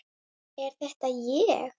Er þetta ég?